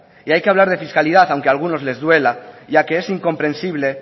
y hay que hablar de fiscalidad aunque a algunos les duela ya que es incomprensible